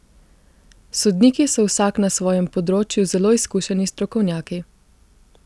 Sodniki so vsak na svojem področju zelo izkušeni strokovnjaki.